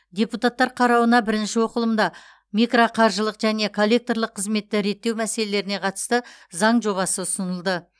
депутаттар қарауына бірінші оқылымда микроқаржылық және коллекторлық қызметті реттеу мәселелеріне қатысты заң жобасы ұсынылды